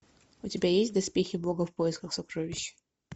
у тебя есть доспехи бога в поисках сокровищ